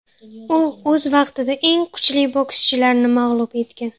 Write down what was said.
U o‘z vaqtida eng kuchli bokschilarni mag‘lub etgan.